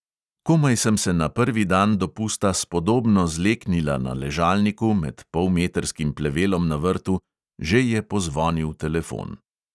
Komaj sem se na prvi dan dopusta spodobno zleknila na ležalniku med polmetrskim plevelom na vrtu, že je pozvonil telefon.